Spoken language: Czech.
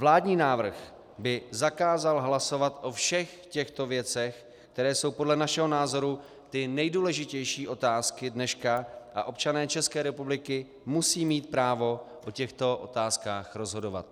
Vládní návrh by zakázal hlasovat o všech těchto věcech, které jsou podle našeho názoru ty nejdůležitější otázky dneška, a občané České republiky musí mít právo o těchto otázkách rozhodovat.